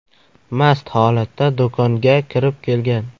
mast holatda do‘konga kirib kelgan.